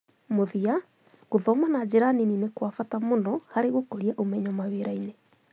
Mũthia, gũthoma na njĩra nini ni kwa bata muno harĩ gũkũria umenyo mawĩra-inĩ